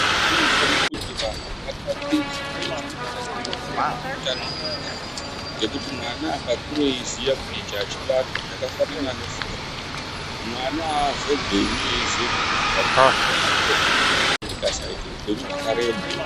Munthu unofanira kuti munthu atatiche zvine chekuita nemitombo neutano hwevanthu. Ngendaa yekuti mwana akakure eiziya kuti ichi achibatwi, zvakafanana ne forya, mwana aazobhemi eiziya kuti maphaphu angu anofa ndikasaita upenyu hwakareba.